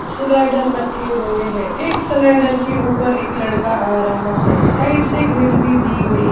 slider रखे गये है एक स्लाइडर के ऊपर एक लड़का आ रहा है साइड से ग्रिल भी दी गई--